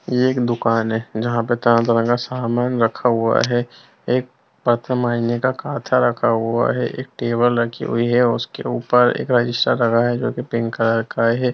यह एक दुकान है जहां पर तरह-तरह का सामान रखा हुआ है एक का काथा रखा हुआ है एक टेबल रखी हुई है उसके ऊपर एक रजिस्टर रखा है जो की पिंक कलर का है।